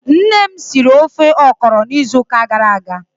Nne m siri ofe ọkrọ n'izu uka gara aga.